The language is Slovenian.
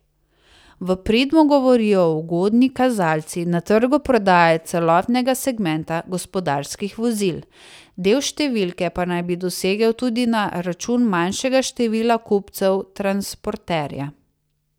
V prid mu govorijo ugodni kazalci na trgu prodaje celotnega segmenta gospodarskih vozil, del številke pa naj bi dosegel tudi na račun manjšega števila kupcev transporterja.